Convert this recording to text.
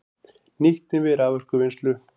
Nýtni við raforkuvinnslu